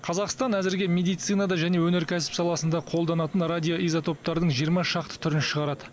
қазақстан әзірге медицинада және өнеркәсіп саласында қолданатын радиоизотоптардың жиырма шақты түрін шығарады